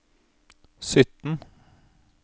sytten